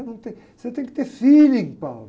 Num tem, você tem que ter feeling.